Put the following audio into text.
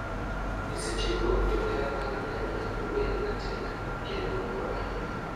E seche go johera mag nyanya wer matek kendo mor ahinya.